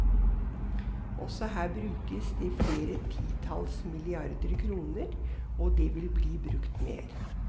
Også her brukes det flere titalls milliarder kroner, og det vil bli brukt mer.